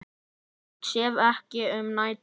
Ég sef ekki um nætur.